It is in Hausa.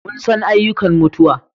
Mun san ayyukan mutuwa